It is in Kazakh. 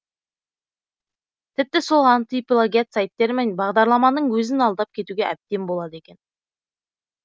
тіпті сол антиплагиат сайттар мен бағдарламаның өзін алдап кетуге әбден болады екен